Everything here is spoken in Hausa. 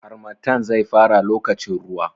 Harmattan zai fara lokacin ruwa.